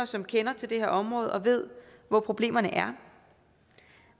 som kender til det her område og ved hvor problemerne er